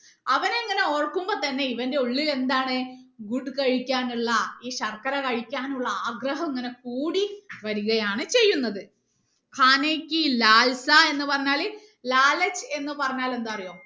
അവനെ അങ്ങനെ ഓർക്കുമ്പോ തന്നെ ഇവന്റെ ഉള്ളിൽ എന്താണ് കഴിക്കാനുള്ള ഈ ശർക്കര കഴിക്കാനുള്ള ആഗ്രഹം ഇങ്ങനെ കൂടി വരികയാണ് ചെയ്യുന്നത് എന്ന് പറഞ്ഞാല് എന്ന് പറഞ്ഞാൽ എന്താണെന്ന് അറിയോ